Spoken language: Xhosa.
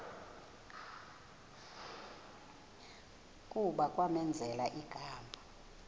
kuba kwamenzela igama